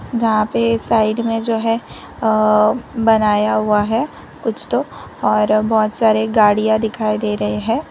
यहां पे साइड में जो है अह बनाया हुआ है कुछ तो और बहुत सारे गाड़ियां दिखाई दे रहे हैं।